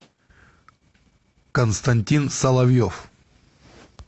константин соловьев